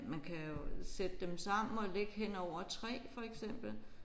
Man kan jo sætte dem sammen og ligge hen over 3 for eksempel